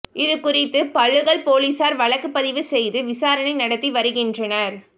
இது குறித்து பளுகல் போலீசார் வழக்கு பதிவு செய்து விசாரணை நடத்தி வருகின்றனர்